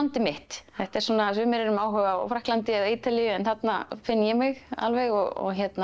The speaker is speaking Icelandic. mitt sumir eru með áhuga á Frakklandi eða Ítalíu en þarna finn ég mig alveg og